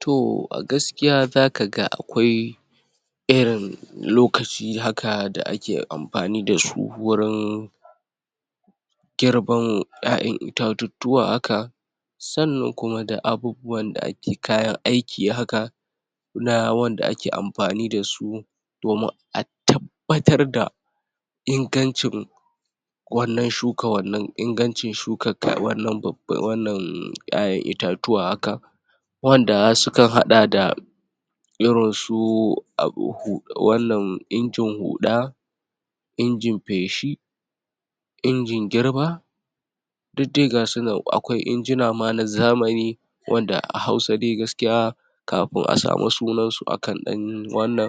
To a gaskiya zakaga akwai irin lokaci haka da ake amfani dasu wurin girbin ƴaƴan itatuttuwa haka sannan kuma da abubuwan da ake kayan aiki haka na wanda ake amfani dasu domin a tabbatar da ingancin wannan shuka wannan ingancin shuka ka wannan babba wannan ƴaƴan itatuwa haka wanda sukan haɗa da irin su abu? wannan injin huɗa injin feshi injin girba duk dai ga su nan, akwai injina ma na zamani wanda a Hausa dai gaskiya kafin a samu sunan su akan ɗan wannan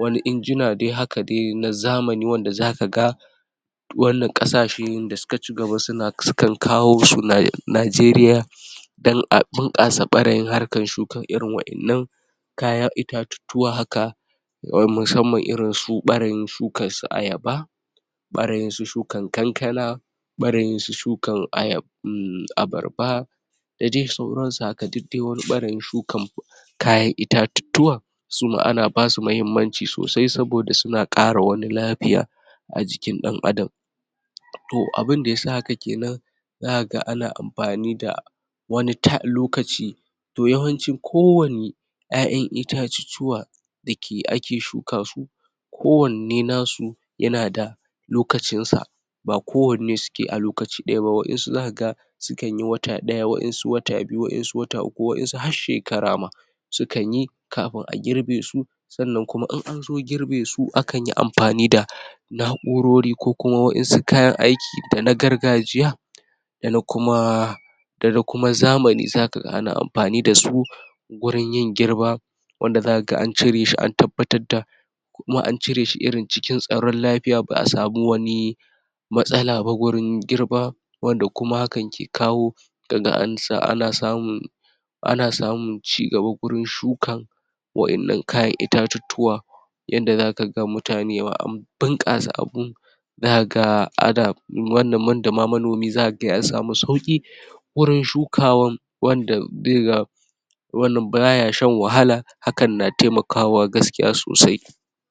wani injina dai haka dai na zamani, wanda zakaga wannan ƙasashen da suka cigaba suna sukan kawo su na? Najeriya don a bunƙasa ɓarayin harkar shuka irin waƴannan kayan itatuttuwa haka wa musamman irin su ɓarayin shukan su ayaba ɓarayin su shukan kankana ɓarayin su shukan ayab um abarba da dai sauransu haka. Duk dai wani ɓarayin shukan kayan itatuttuwa suma ana basu muhimmanci sosai saboda suna ƙara wani lafiya a jikin ɗan adam to abinda yasa haka kenan zakaga ana amfani da wani ta? lokaci to yawanci kowanne ƴaƴan itatuttuwa dake ake shuka su kowanne nasu yana da lokacin sa ba kowanne suke a lokaci ɗaya ba. Waƴansu zakaga sukanyi wata ɗaya, waƴansu wata biyu, waƴansu wata uku, waƴansu har shekara ma sukan yi kafin a girbe su sannan kuma in anzo girbe su, akan yi amfani da na'urori, ko kuma waƴansu kayan aiki da na gargajiya dana kuma dana kuma zamani zakaga ana amfani dasu gurin yin girba wanda zakaga an cire shi ,an tabbatar da kuma an cire shi irin cikin tsaron lafiya, ba'a samu wani wani matsala ba gurin girba wanda kuma hakan ke kawo kaga an sa ana samun ana samun cigaba gurin shukan waƴannan kayan itatuttuwa yanda zakaga mutane wa an bunƙasa abun zakaga ana wannan, wanda ma manomi zakaga ma ya samu sauƙi gurin shukawan, wanda zai ga wannan baya shan wahala, hakan na taimakawa gaskiya sosai